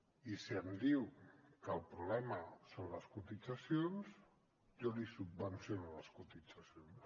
i si em diu que el problema són les cotitzacions jo li subvenciono les cotitzacions